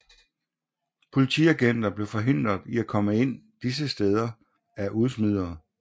Politiagenter blev forhindret i at komme ind disse steder af udsmidere